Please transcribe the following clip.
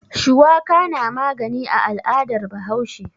Shuwaka na magani a al'adar Bahaushe.